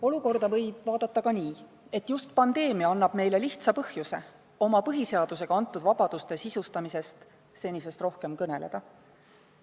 Olukorda võib vaadata ka nii, et just pandeemia annab lihtsa põhjuse meile põhiseadusega antud vabaduste sisustamisest senisest rohkem kõneleda.